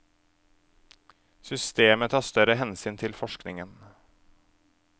Systemet tar større hensyn til forskningen.